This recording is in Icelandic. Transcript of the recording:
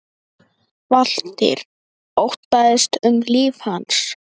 Valtýr: Óttaðist um líf hans?